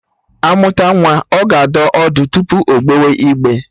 Amụta nwa, ọ ga adọ ọdụ tupu ogbewe igbe